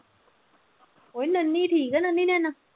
ਉਹ ਨੱਨੀ ਠੀਕ ਹੈ ਨੱਨੀ